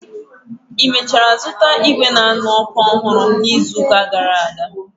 Ị mechara zụta Hita ọhụrụ n'izu gara aga?